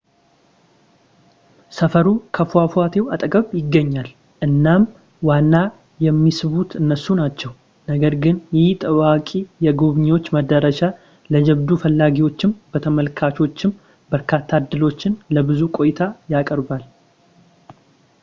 ሰፈሩ ከፏፏቴው አጠገብ ይገኛል እናም ዋና የሚስቡት እነሱ ናቸው ነገር ግን ይህ ታዋቂ የጎብኚዎች መዳረሻ ለጀብዱ ፈላጊዎችም ለተመልካቾችም በርካታ ዕድሎችን ለብዙ ቆይታ ያቀርባል